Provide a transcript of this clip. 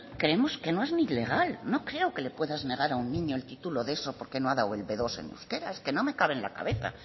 creemos que no es ni legal no creo que le puedas negar a un niño el título de eso porque no ha dado el be dos en euskera es que no me cabe en la cabeza